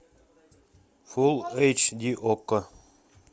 фулл эйч ди окко